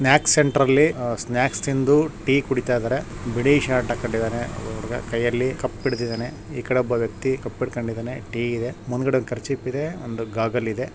snacks centre ಅಲ್ಲಿ snacks ತಿಂದು tea ಕುಡಿತಾಯಿದಾರೆ ಬಿಳಿ ಶರ್ಟ್ ಹಾಕ್ಕೊಂಡಿದಾನೆ ಒಬ್ಬ ಹುಡುಗ ಕೈಯಲ್ಲಿ ಕಪ್ ಹಿಡದಿದಾನೆ ಈಕಡೆ ಒಬ್ಬ ವ್ಯಕ್ತಿ ಕಪ್ ಹಿಡ್ಕೊಂಡಿದಾನೆ ಟೀ ಇದೆ ಮುಂದಾಗಡೆ ಒಂದು ಕರ್ಚಿಪ್ ಇದೆ ಒಂದು ಗಾಗಲ್ ಇದೆ